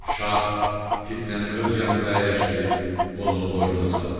Şah Fitnəni öz yanında əyləşdirib qolunu boynuna saldı.